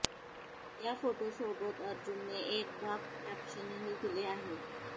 या फोटोसोबत अर्जुनने एक बाप कॅप्शनही दिले आहे